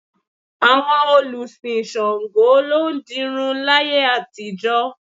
Àwọn olùsìn Ṣàngó ló ń dirun láyé àtijọ́